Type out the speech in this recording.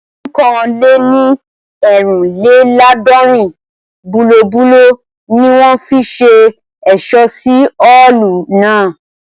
Ẹgbẹ̀rún kan lè ní eerinlelaadọrin bulobulo ni wọ́n fi ṣe ẹ̀ṣọ́ sí Ọ́ọ̀lù náà